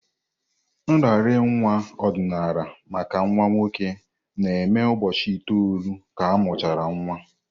Nraranye nwa ọdịnala maka nwa nwoke na-eme ụbọchị itoolu ka amuchara nwa.